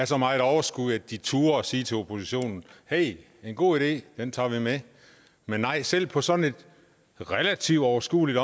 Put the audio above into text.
så meget overskud at de turde sige til oppositionen hey det er en god idé den tager vi med men nej selv på så relativt overskueligt